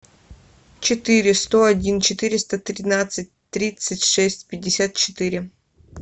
четыре сто один четыреста тринадцать тридцать шесть пятьдесят четыре